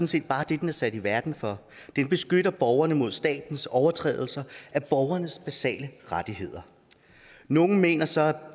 set bare det den er sat i verden for den beskytter borgerne mod statens overtrædelser af borgernes basale rettigheder nogle mener så at